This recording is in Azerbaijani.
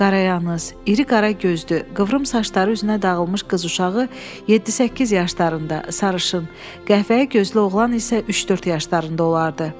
Qarayanaq, iri qara gözlü, qıvrım saçları üzünə dağılmış qız uşağı 7-8 yaşlarında, sarışın, qəhvəyi gözlü oğlan isə 3-4 yaşlarında olardı.